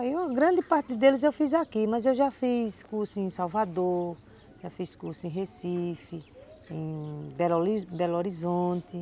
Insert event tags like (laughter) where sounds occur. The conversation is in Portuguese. Aí uma grande parte deles eu fiz aqui, mas eu já fiz curso em Salvador, já fiz curso em Recife, em (unintelligible) Belo Horizonte.